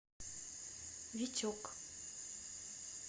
витек